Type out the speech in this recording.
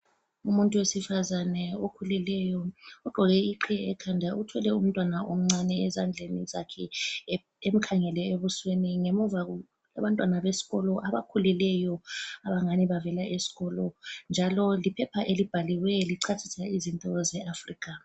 Umuntu wesifazane okhulileyo ogqoke iqhiye ekhanda, uthwele umtwana omncane ezandleni zakhe emkhangele ebusweni, ngemuva Abantwana besikolo abakhulileyo abangani bavela eskolo, njalo liphepha elibhaliweyo lichasisa izinto ze Africa